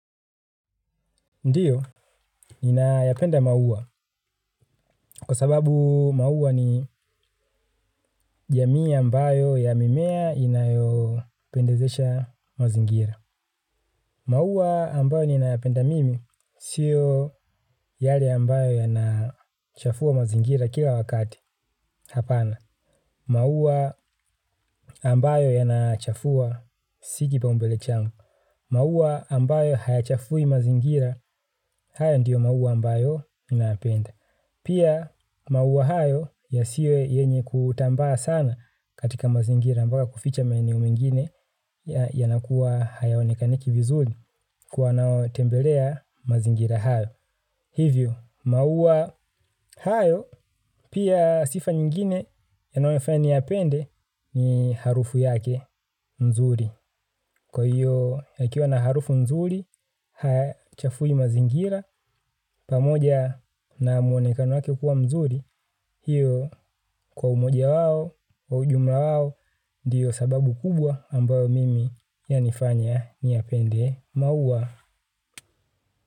Ndiyo, ninayapenda maua kwa sababu maua ni jamii ambayo ya mimea inayopendezesha mazingira. Maua ambayo ninayapenda mimi sio yale ambayo yanachafua mazingira kila wakati hapana. Maua ambayo yanachafua si kipaombele changu. Maua ambayo hayachafui mazingira, hayo ndiyo maua ambayo ninayapenda. Pia maua hayo yasiwe yenye kutambaa sana katika mazingirampaka kuficha maeneo mingine ya nakuwa hayaonekaniki vizuri kwa wanaotembelea mazingira hayo. Hivyo, maua hayo, pia sifa nyingine yanayonifanya niyapende ni harufu yake mzuri. Kwa hiyo, yakiwa na harufu mzuri, hachafui mazingira, pamoja na mwonekano wake kuwa mzuri. Hiyo, kwa umoja wao, kwa ujumla wao, ndiyo sababu kubwa ambayo mimi yanifanya niyapende maua.